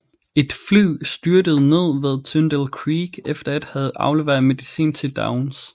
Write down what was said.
Et fly styrtede ned ved Tyndall Creek efter at have afleveret medicin til Downs